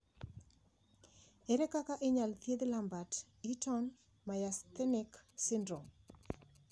Ere kaka inyalo thiedh Lambert Eaton myasthenic syndrome?